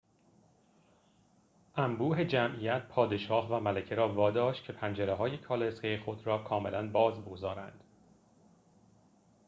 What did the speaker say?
انبوه جمعیت پادشاه و ملکه را واداشت که پنجره‌های کالسکه خود را کاملا باز بگذارند